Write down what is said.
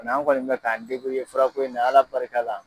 an kɔni bɛ k'an ye fura ko in na ala barika la.